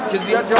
Çünki sənə.